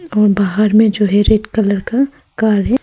और बाहर में जो है रेड कलर का कार है।